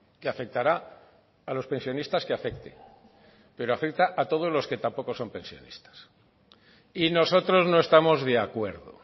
que afectará a los pensionistas que afecte pero afecta a todos los que tampoco son pensionistas y nosotros no estamos de acuerdo